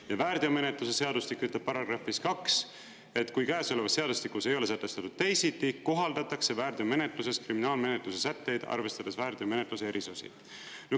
Ja väärteomenetluse seadustik ütleb §-s 2, et kui käesolevas seadustikus ei ole sätestatud teisiti, kohaldatakse väärteomenetluses kriminaalmenetluse sätteid arvestades väärteomenetluse erisusi.